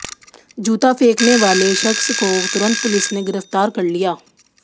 जूता फेंकने वाले शख्स को तुरंत पुलिस ने गिरफ्तार कर लिया